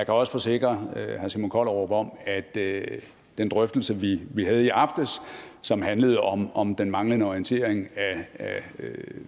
også forsikre herre simon kollerup om at den drøftelse vi havde i aftes og som handlede om om den manglende orientering af